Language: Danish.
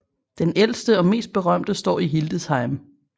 Den ældste og mest berømte står i Hildesheim